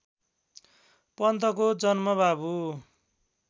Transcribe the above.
पन्तको जन्म बाबु